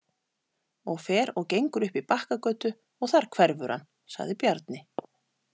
Og fer og gengur upp í Bakkagötu og þar hverfur hann, sagði Bjarni.